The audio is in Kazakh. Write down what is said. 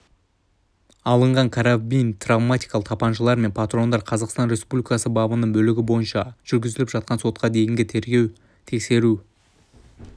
алынған карабин травматикалық тапаншалар мен патрондар қазақстан республикасы бабының бөлігі бойынша жүргізіліп жатқан сотқа дейінгі тергеп-тексеру